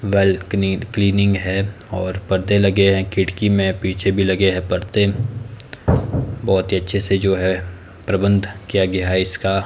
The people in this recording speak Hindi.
बालकनी क्लीनिंग है और परदे लगे हैं खिड़की में पीछे भी लगे हैं पर्दे बहोत ही अच्छे से जो है प्रबंध किया गया है इसका।